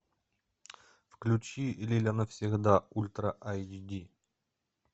включи лиля навсегда ультра айч ди